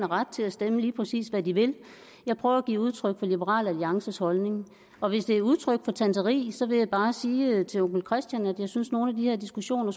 ret til at stemme lige præcis hvad de vil jeg prøver at give udtryk for liberal alliances holdning og hvis det er udtryk for tanteri vil jeg bare sige til onkel christian at jeg synes nogle af de her diskussioner